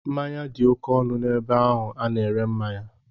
Mmanya dị oké ọnụ n'ebe ahụ a na-ere mmanya.